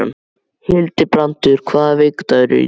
Hildibrandur, hvaða vikudagur er í dag?